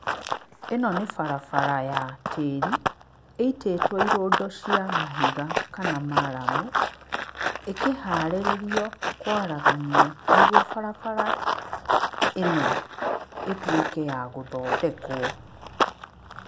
Ĩno nĩ barabara ya tĩri, ĩitĩtwo irũndo cia mahiga kana maramu, ĩkĩharĩrĩrio kwaraganio nĩguo barabara ĩno ĩtuĩke ya gũthondekwo.